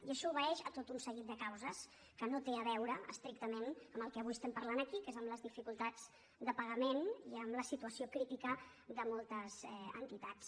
i això obeeix a tot un seguit de causes que no tenen a veure estrictament amb el que avui estem parlant aquí que és amb les dificultats de pagament i amb la situació crítica de moltes entitats